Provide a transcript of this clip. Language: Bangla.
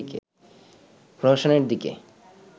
প্রহসনের দিকে